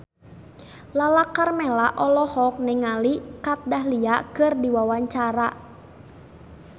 Lala Karmela olohok ningali Kat Dahlia keur diwawancara